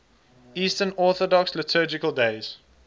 eastern orthodox liturgical days